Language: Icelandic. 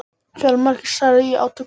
Fjölmargir særðust í átökunum